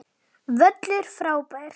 Völlur frábær.